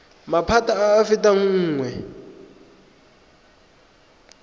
maphata a a fetang nngwe